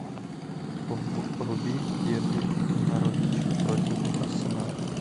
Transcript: вруби дерби норвич против арсенала